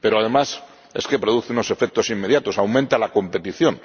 Pero, además, es que produce unos efectos inmediatos aumenta la competición.